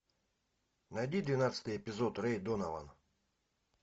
найди двенадцатый эпизод рэй донован